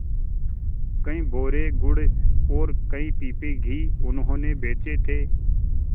कई बोरे गुड़ और कई पीपे घी उन्होंने बेचे थे